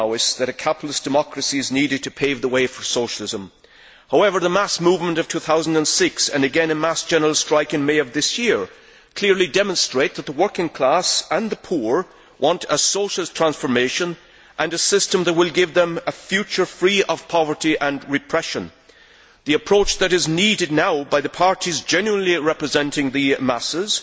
that a capitalist democracy is needed to pave the way for socialism. However, the mass movement of 2006, and again a mass general strike in May of this year, clearly demonstrate that the working class and the poor want a socialist transformation and a system that will give them a future free of poverty and repression. The approach that is needed now by the parties genuinely representing the masses